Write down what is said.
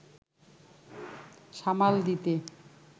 সামাল দিতে